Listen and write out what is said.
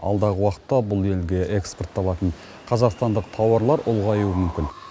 алдағы уақытта бұл елге экспортталатын қазақстандық тауарлар ұлғаюы мүмкін